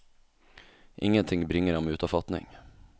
Ingenting bringer ham ut av fatning.